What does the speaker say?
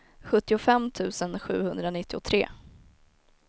sjuttiofem tusen sjuhundranittiotre